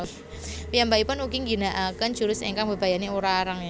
Piyambakipun ugi ngginakaken jurus ingkang mbebayani Urarenge